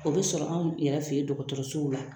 O bɛ sɔrɔ anw yɛrɛ fɛ yen dɔgɔtɔrɔsow la